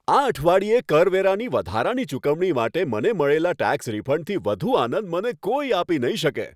આ અઠવાડિયે કરવેરાની વધારાની ચુકવણી માટે મને મળેલા ટેક્સ રિફંડથી વધુ આનંદ મને કોઈ આપી નહીં શકે.